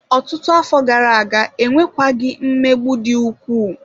Ọtụtụ afọ gara aga, enwekwaghị mmegbu dị ukwuu.